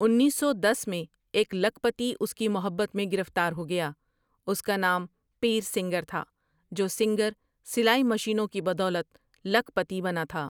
انیس سو دس میں ایک لکھ پتی اس کی محنت میں گرفتار ہو گیا، اس کا نام پیرسنگر تھا جو سنگر سلائی مشینوں کی بدولت لکھ پتی بنا تھا ۔